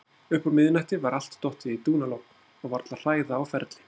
Uppúr miðnætti var allt dottið í dúnalogn og varla hræða á ferli.